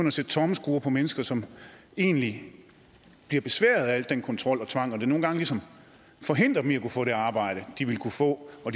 at sætte tommelskruer på mennesker som egentlig bliver besværet af al den kontrol og tvang som nogle gange ligesom forhindrer dem i at kunne få det arbejde de ville kunne få og